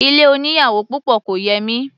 Ilé oníyàwò púpọ̀ kò yẹ mí.